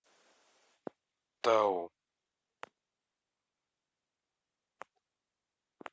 тау